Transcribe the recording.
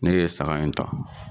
Ne ye saga in ta.